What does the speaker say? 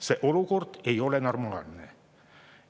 See olukord ei ole normaalne.